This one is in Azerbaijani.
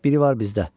Biri var bizdə.